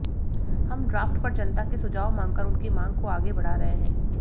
हम ड्राफ्ट पर जनता के सुझाव मांगकर उनकी मांग को आगे बढ़ा रहे हैं